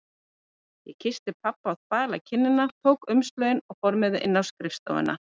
Ég kyssti pabba á þvala kinnina, tók umslögin og fór með þau inn á skrifstofuna.